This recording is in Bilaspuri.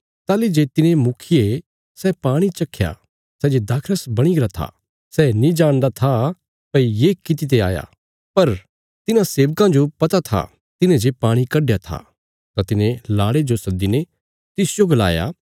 ताहली जे तिने मुखिये सै पाणी चख्या सै जे दाखरस बणी गरा था सै नीं जाणदा था भई ये कित्ते आया पर तिन्हां सेबकां जो पता था तिन्हे जे पाणी कड्डया था तां तिने लाड़े जो सद्दीने तिसजो गलाया